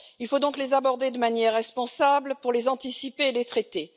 Il faut donc les aborder de manière responsable pour les anticiper et les traiter.